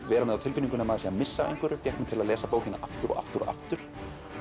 vera með á tilfinningunni að maður sé að missa af einhverju fékk mig til að lesa bókina aftur og aftur og aftur